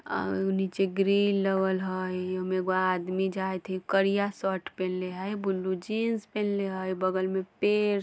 अ नीचे ग्रिल लगल हई ओय में एगो आदमी जाएत हई करिया शर्ट पिन्हले हय ब्लू जिन्स पिन्हले हय बगल में पेड़ --